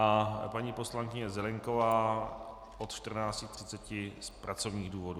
A paní poslankyně Zelienková od 14.30 z pracovních důvodů.